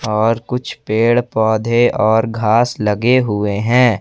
और कुछ पेड़ पौधे और घास लगे हुए हैं।